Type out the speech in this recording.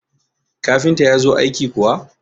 kafinta ya zo aiki kuwa?